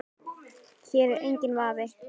Hér er enginn vafi.